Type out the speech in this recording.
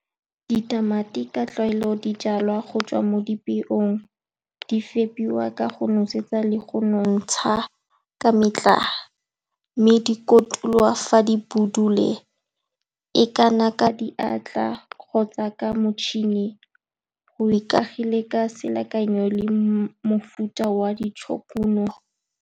Ditamati ka tlwaelo di jalwa go tswa mo dipeong, di fepiwa ka go nosetswa le go nontsha ka metlha, mme di kotulwa fa di budule. E ka nna ka diatla kgotsa ka motšhini, go ikaegile ka selekano le mofuta wa .